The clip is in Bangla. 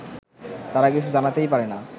তারা কিছু জানাতেই পারে না